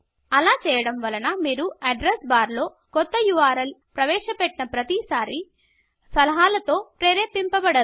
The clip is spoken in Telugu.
అలా చేయడం వలన మీరు అడ్రెస్ బార్లో కొత్త ఉర్ల్ ప్రవేశ పెట్టిన్న ప్రతిసారి సలహాల తో ప్రేరేరిమ్పబాడరు